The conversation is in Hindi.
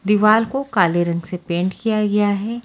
दीवाल को काले रंग से पेंट किया गया है।